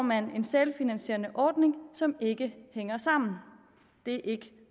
man en selvfinansierende ordning som ikke hænger sammen det er ikke